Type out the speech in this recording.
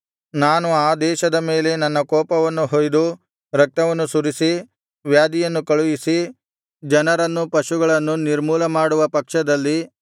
ನಾನು ಆ ದೇಶದ ಮೇಲೆ ನನ್ನ ಕೋಪವನ್ನು ಹೊಯ್ದು ರಕ್ತವನ್ನು ಸುರಿಸಿ ವ್ಯಾಧಿಯನ್ನು ಕಳುಹಿಸಿ ಜನರನ್ನು ಪಶುಗಳನ್ನು ನಿರ್ಮೂಲಮಾಡುವ ಪಕ್ಷದಲ್ಲಿ